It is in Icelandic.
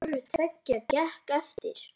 Hvoru tveggja gekk eftir.